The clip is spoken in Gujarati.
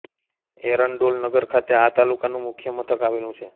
એરંડોલ નગર ખાતે આ તાલુકાનું મુખ્ય મથક આવેલું છે